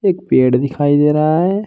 एक पेड़ दिखाई दे रहा है।